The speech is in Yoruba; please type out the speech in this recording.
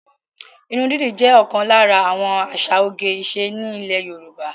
Ìrún didì jẹ́ òkan lára àwọn àsà òge-ìṣe ni Ilè Yorùbá.